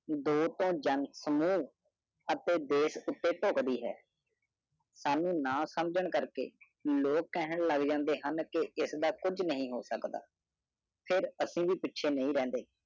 ਡਾ ਤਨ ਜਨ ਸੁਨੋ ਏਥੇ ਦਾਸ ਉਤੀ ਹੀ ਕਾਦੀ ਹੈ ਕੀਟਾਣੂ ਨਾ ਫੈਲਾਓ ਲੋਕ ਕਿੱਥੇ ਸੋਚਣ ਜਾ ਰਹੇ ਹਨ ਕਿ ਐਸਡਾ ਕੁਝ ਵੀ ਨਹੀਂ ਹੋ ਸਕਦਾ ਫਿਰ ਕੁਝ ਵੀ ਨਹੀਂ ਰਹੇਗਾ